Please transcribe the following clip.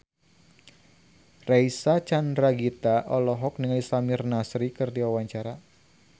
Reysa Chandragitta olohok ningali Samir Nasri keur diwawancara